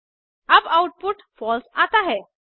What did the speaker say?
अब output false आता है